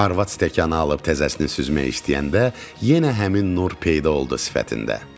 Arvad stəkanı alıb təzəsini süzmək istəyəndə yenə həmin nur peyda oldu sifətində.